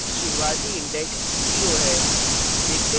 शुरूवाती index 0 है